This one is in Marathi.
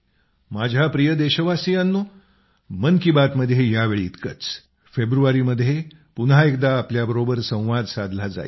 माझ्या प्रिय देशवासियांनो मन की बातमध्ये यावेळी इतकंच फेब्रुवारीमध्ये पुन्हा एकदा आपल्याबरोबर संवाद साधला जाईल